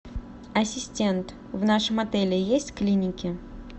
ассистент в нашем отеле есть клиники